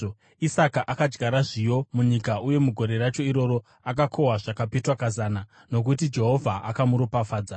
Isaka akadyara zviyo munyika uye mugore racho iroro akakohwa zvakapetwa kazana, nokuti Jehovha akamuropafadza.